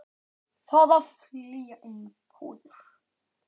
Þarf að flytja inn fóður?